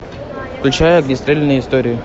включай огнестрельные истории